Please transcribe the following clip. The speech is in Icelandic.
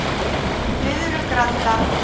Flyðrugranda